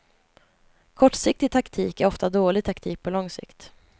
Kortsiktig taktik är ofta dålig taktik på lång sikt.